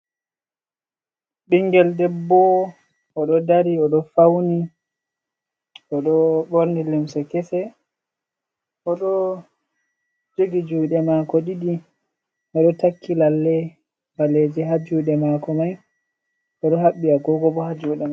Ɓingel debbo, o ɗo dari o ɗo fawni, o ɗo ɓorni limse kese, o ɗo jogi juuɗe maako ɗiɗi, o ɗo takki lallei ɓaleeje ha juuɗe maako mai, o ɗo haɓɓi agoogo bo ha juuɗe mai.